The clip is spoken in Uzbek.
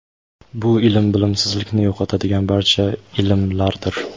bu ilm bilimsizlikni yo‘qotadigan barcha ilmlardir.